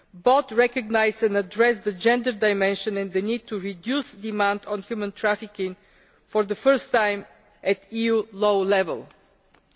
Both recognise and address the gender dimension and the need to reduce demand on human trafficking for the first time at the level of EU law.